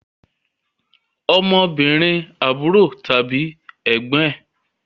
Ọmọbìnrin àbúrò tàbí ẹ̀gbọ́n ẹn